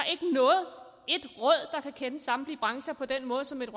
kan kende samtlige brancher på den måde som et